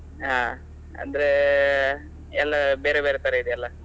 ಹ, ಅಂದ್ರೆ ಎಲ್ಲ ಬೇರೆ ಬೇರೆ ತರಾ ಇದೆ ಆಲ್ವಾ.